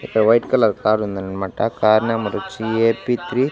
ఇక్కడ white colour car ఉందన్నమాట car number వొచ్చి ఏ_పి త్రీ .